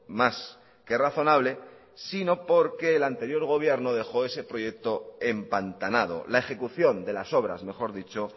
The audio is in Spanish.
más que razonable sino porque el anterior gobierno dejó ese proyecto empantanado la ejecución de las obras mejor dicho